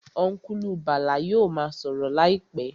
Ọ́nkùlù Bàlá yóò ma sọ̀rọ̀ láìpẹ́